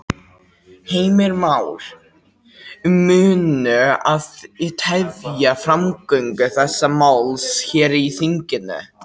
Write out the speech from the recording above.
Heimir Már: Munu þið tefja framgöngu þessa máls hér í þinginu?